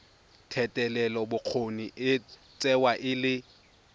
thetelelobokgoni e tsewa e le